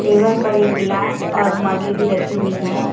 Table पर एक गिलास और मगे भी रखी हुई है।